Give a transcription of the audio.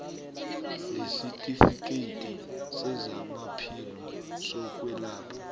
nesitifikhethi sezamaphilo sokwelatjhwa